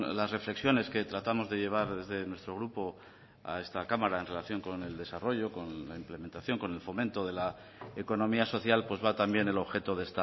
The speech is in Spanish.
las reflexiones que tratamos de llevar desde nuestro grupo a esta cámara en relación con el desarrollo con la implementación con el fomento de la economía social pues va también el objeto de